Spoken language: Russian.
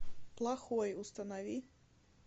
плохой установи